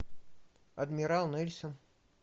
адмирал нельсон